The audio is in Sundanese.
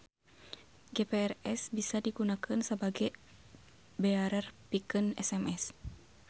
GPRS bisa digunakeun sabage bearer pikeun SMS.